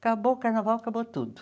Acabou o carnaval, acabou tudo.